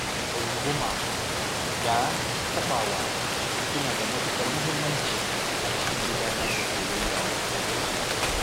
Runguma da taɓawa suna da matuƙar muhimmanci a cikin gudanar da soyayyar wasu.